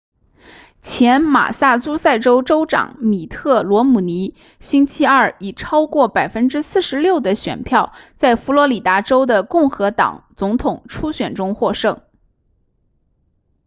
前马萨诸塞州州长米特罗姆尼星期二以超过 46% 的选票在佛罗里达州的共和党总统初选中获胜